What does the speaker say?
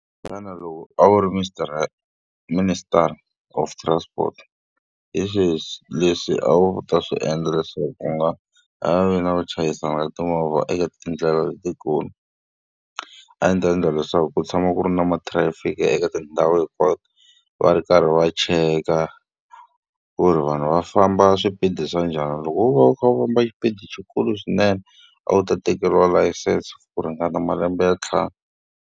Xana loko a wu ri minister of transport, hi swihi leswi a wu ta swi endla leswaku ku nga ha vi na ku chayisana ka timovha eka tindlela letikulu? A ndzi ta endla leswaku ku tshama ku ri na mathirayifiki eka tindhawu hinkwato, va ri karhi va cheka ku ri vanhu va famba swipedi swa njhani. Loko wo va u kha u famba xipidi xikulu swinene, a wu ta tekeriwa layisense ku ringana malembe ya ntlhanu.